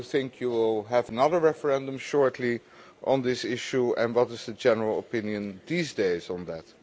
Do you think you will have another referendum shortly on this issue, and what is the general opinion these days on that?